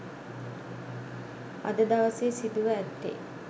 අද දවසේ සිදුව ඇත්තේ